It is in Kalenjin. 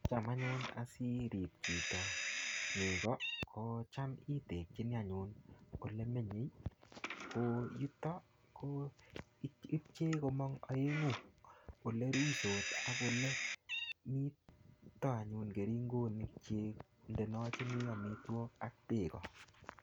Cham anyun asirib chito neko kocham itekinii anyun olemenye ko yuton ko ipchee komong oengu ole ruitos ak ole ite anyun keringonik chik indenochinii omitwokik ak beek.